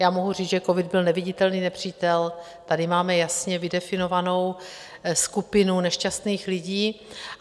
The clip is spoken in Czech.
Já mohu říct, že covid byl neviditelný nepřítel, tady máme jasně vydefinovanou skupinu nešťastných lidí.